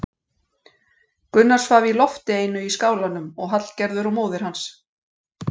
Gunnar svaf í lofti einu í skálanum og Hallgerður og móðir hans.